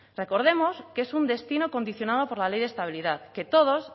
recordemos que es un destino condicionado por la ley de estabilidad que todos